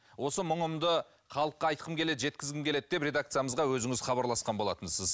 осы мұңымды халыққа айтқым келеді жеткізгім келеді деп редакциямызға өзіңіз хабарласқан болатынсыз